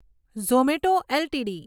Zomato LTD